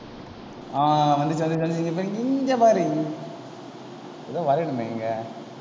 ஆஹ் வந்துருச்சி வந்துருச்சி வந்துருச்சி இங்க பாரு இங்க பாரு இங்க பாரு ஏதோ வரையணுமே இங்க.